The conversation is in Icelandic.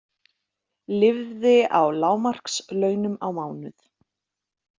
Lifði á lágmarkslaunum í mánuð